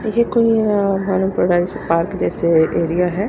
ये कोई अ मालूम पड़ रहा जैसे पार्क जैसे की एरिया है।